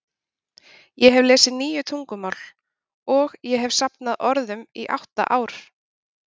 Ég hefi lesið níu tungumál, og ég hefi safnað orðum í átta ár.